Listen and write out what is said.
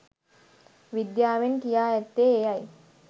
විද්‍යාවෙන් කියා ඇත්තේ එයයි